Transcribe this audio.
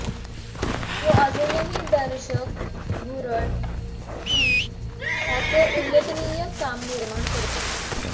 तो अजूनही दर्शक भुरळ की त्याचे उल्लेखनीय काम निर्माण करतो